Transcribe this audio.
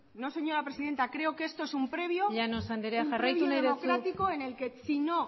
no señora presidenta llanos anderea jarraitu nahi duzu creo que esto es un previo democrático en el que si no